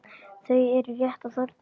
Þau eru rétt að þorna!